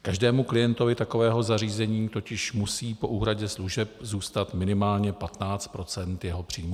Každému klientovi takového zařízení totiž musí po úhradě služeb zůstat minimálně 15 % jeho příjmu.